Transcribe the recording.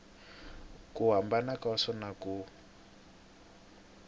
ku hambana ka swona ku